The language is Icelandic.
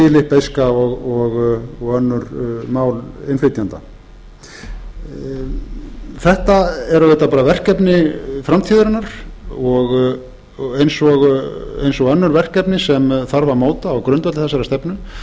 pólska víetnamska filippseyska og önnur mál innflytjenda þetta er auðvitað bara verkefni framtíðarinnar eins og önnur verkefni sem þarf að móta á grundvelli þessarar stefnu